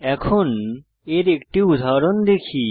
এখন এর একটি উদাহরণ দেখি